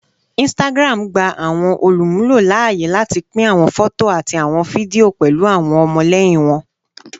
Instagram gba awọn olumulo laaye lati pin awọn fọto ati awọn fidio pẹlu awọn ọmọlẹyin wọn